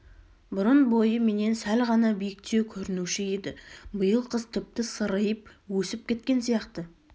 бұрын бойы менен сәл ғана биіктеу көрінуші еді биыл қыс тіпті сыриып өсіп кеткен сияқты